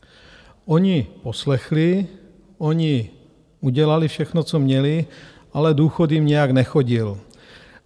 Oni poslechli, oni udělali všechno, co měli, ale důchod jim nějak nechodil.